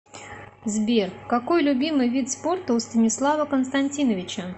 сбер какой любимый вид спорта у станислава константиновича